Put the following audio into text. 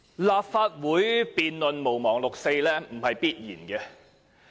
立法會辯論"毋忘六四"，不是必然的。